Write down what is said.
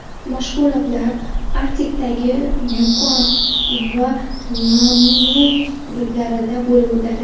Mashg‘ulotlar Arktikadagi Yukon va Nunavut hududlarida bo‘lib o‘tadi.